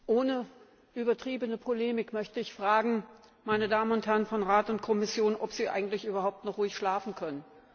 Ohne übertriebene Polemik möchte ich fragen, meine Damen und Herren von Rat und Kommission, ob Sie eigentlich überhaupt noch ruhig schlafen können.